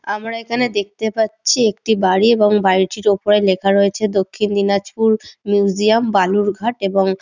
আমরা এখানে দেখতে পারছি একটি বাড়ি এবং বাড়িটির উপরে লেখা আছে দক্ষিণ দিনাজপুর মিউজিয়াম বালুরঘাট এবং--